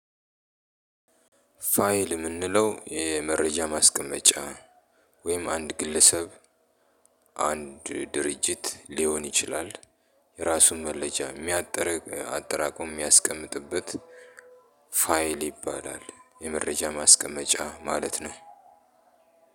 ፋይል የምንለው ይሄ መረጃ ማስቀመጫ ወይም አንድ ግለሰብ አንድ ድርጅት ሊሆን ይችላል። የራሱን መለጃ የሚያጠራቅ አጠራቅሞ የሚያስቀምጥበት ፋይል ይባላል የመረጃ ማስቀመጫ ማለት ነው።